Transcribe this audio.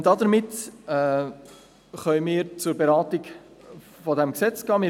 Damit können wir zur Beratung des Gesetzes übergehen.